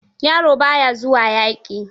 Yaro ba ya zuwa yaƙi.